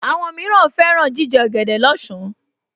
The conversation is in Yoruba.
Àwọn mìíràn fẹ́ràn jíjẹ ọ̀gẹ̀dẹ̀ lọ́sàn-án